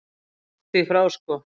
Langt því frá sko.